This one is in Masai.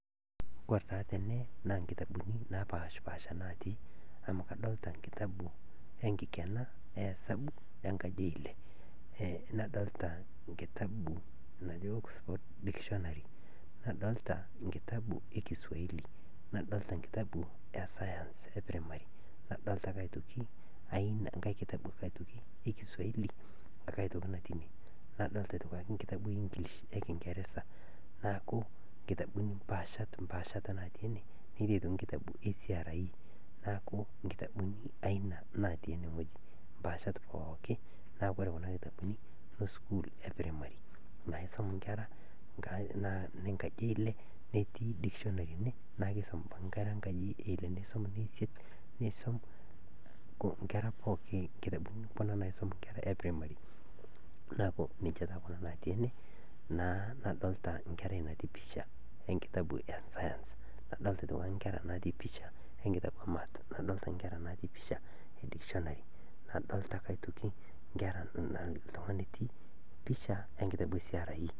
Kore taa tene naa nkitabuni napashpaasha natii amu kadolita nkitabu enkikena e esabu enkaji e ile, nadolita nkitabu naji oksfod o dikishonari. Nadolita nkitabu ekisuwaili, nadolita nkitabu esayans, nadolita ake aitoki nkae nkitabu ekisuali aitoki natii inie, nadolita ake aitoki nkitabu e ingilish, ekingeresa naaku nkitabuni mpaashat natii ene netii aitoki nkitabuni esiarii naaku nkitabu eina natii ene wueji. Mpaashat pooki naa kore aitoki esukul epiremari naisum nkera enkaji eile, netii aitoki naa keisum nkera enkaji eile naisum ne isiet, neisum nkera pooki, nkitabuni kuna naisum nkera epiremari naaku ninche taa kuna natui ene naa nadolita nkerai natii pisha enkitabu esayans. Nadolita aitoki nkera natii pisha enkitabu emaats ,nadolita nkera ntii mpisha edikishonari. Nadolita ake aitoki nkera, iltungani otii pisha enkitabu esiarii.